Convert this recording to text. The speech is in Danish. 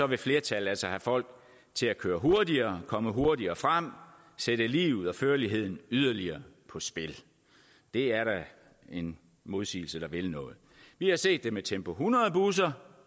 vil flertallet altså have folk til at køre hurtigere komme hurtigere frem sætte liv og førlighed yderligere på spil det er da en modsigelse der vil noget vi har set det med tempo hundrede busser